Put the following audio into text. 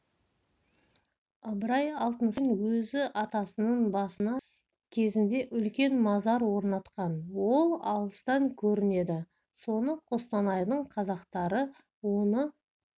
ыбырай алтынсарин өзі атасының басына кезінде үлкен мазар орнатқан ол алыстан көрінеді соны қостанайдың қазақтары оны